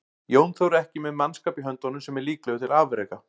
Jón Þór er ekki með mannskap í höndunum sem er líklegur til afreka.